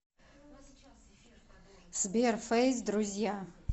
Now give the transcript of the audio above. сбер фейс друзья